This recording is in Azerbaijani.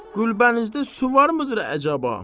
Gülbənizdə su varmıdır əcaba?